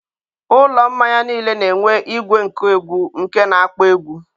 ụlọ mmanya niile na-enwe igwe nkụ egwu nke na akpọ egwu.